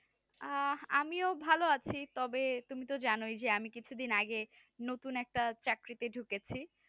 আঃ আমি ভালো আছি তবে তুমি তো জানোই আমি কিছু দিন আগে নতুন একটা চাকরিতে ঢুকেছি